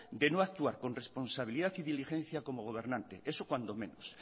de no actuar con responsabilidad y diligencia como gobernante eso cuando menos